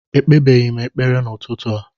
Ekpebeghị m ekpere n'ụtụtụ a